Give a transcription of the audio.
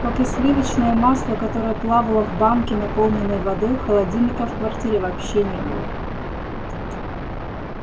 как и сливочное масло которое плавало в банке наполненной водой холодильника в квартире вообще не было